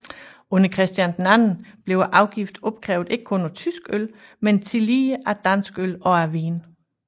Under Christian II blev afgiften opkrævet ikke kun af tysk øl men tillige af dansk øl og af vin